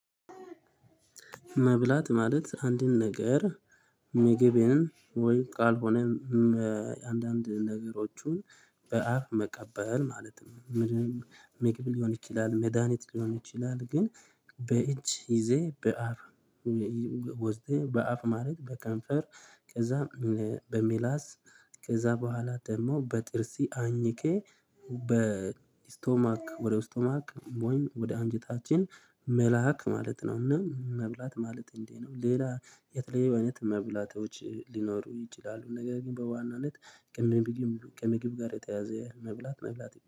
መብላት ማለት አንድን ነገር ምግቤን ካልሆነም ነገሮችን በአፍ መቀበል ማለትም ምንም ምግብ ሊሆን ይችላል መድሃኒት ሊሆን ይችላል። ግን በእጅ ይዘህ በአፍ ወዘተ በአፍ ማለት በከንፈር ከዛ በምላስ ከዛ በኋላ ደግሞ በጥርስ አኝኬ በስቶማክ ወደ ስቶማክ ወይም ወደ አንጀታችን መላክ ማለት ነው። እና መብላት ማለት እንዴ ነው። ሌላ የተለየ አይነት መብላቶች ሊኖሩ ይችላሉ። ነገር ግን በዋናነት ቅም ከምግብ ጋር የተያያዘ መብላት መብላት